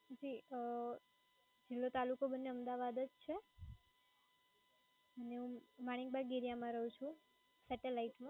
જી અમ જિલ્લો તાલુકો બંને અમદાવાદ જ છે. અને હું મણીબગ area માં રહું છું સેટેલાઈટ માં.